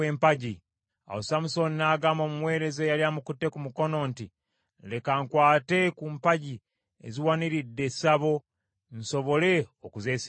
Awo Samusooni n’agamba omuweereza eyali amukutte ku mukono nti, “Leka nkwate ku mpagi eziwaniridde essabo, nsobole okuzeesigama.”